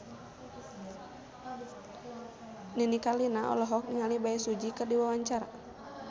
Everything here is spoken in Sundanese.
Nini Carlina olohok ningali Bae Su Ji keur diwawancara